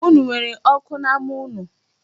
Unu nwere oku n'ama unu?